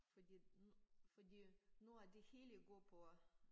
Fordi at fordi at nu at de hele går på